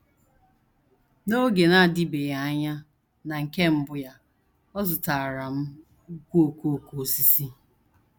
“ N’oge na - adịbeghị anya, na nke mbụ ya, ọ zụtaara m ùkwù okooko osisi ”